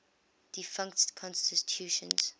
defunct constitutions